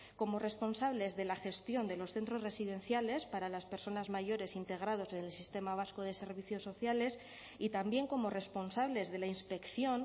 como responsables de la gestión de los centros residenciales para las personas mayores integrados del sistema vasco de servicios sociales y también como responsables de la inspección